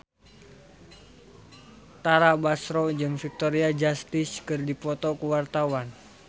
Tara Basro jeung Victoria Justice keur dipoto ku wartawan